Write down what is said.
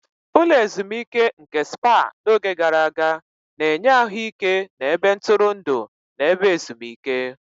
Ụlọ ezimuike nke Spá n'oge gara aga, na-enye ahụike na ebe ntụrụndụ na ebe ezimuike.